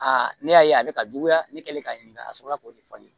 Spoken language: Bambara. ne y'a ye a bɛ ka juguya ne kɛlen k'a ɲininka a sɔrɔla k'o de fɔ ne ye